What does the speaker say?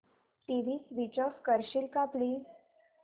TV switch off करशील का please